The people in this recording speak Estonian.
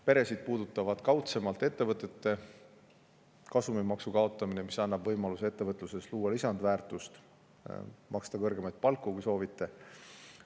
Peresid puudutab kaudsemalt ettevõtete kasumimaksu kaotamine, mis annab võimaluse luua lisandväärtust ja maksta kõrgemaid palku, kui soovite.